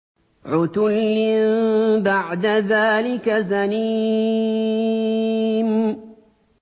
عُتُلٍّ بَعْدَ ذَٰلِكَ زَنِيمٍ